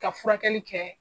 Ka furakɛli kɛ.